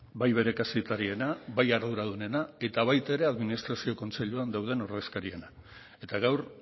bai bere kazetariena bai arduradunena eta baita ere administrazio kontseiluan dauden ordezkariena eta gaur